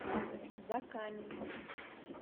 закаменску